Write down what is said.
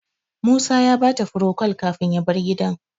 Musa ya bata furocol kafin ya bar gidan.